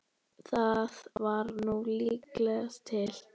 Það var nú líkast til.